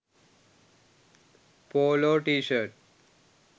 polo tshirt